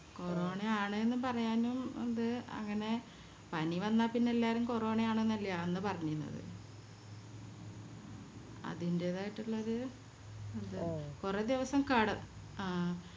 corona ആണ് എന്ന് പറയാനും അത് അങ്ങനെ പനി വന്ന പിന്നെ എല്ലാരും കൊറോണ ആണ്ന്നല്ലേ അന്ന് പറഞ്ഞിന്നത് അതിൻറെതായിട്ടുള്ളോര് ഇത് കൊറേ ദിവസം കെട ആഹ്